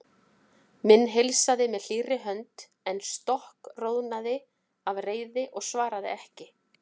Hinn heilsaði með hlýrri hönd en stokkroðnaði af reiði og svaraði ekki.